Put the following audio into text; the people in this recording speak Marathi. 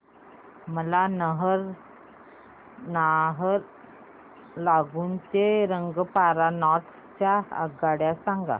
मला नाहरलागुन ते रंगपारा नॉर्थ च्या आगगाड्या सांगा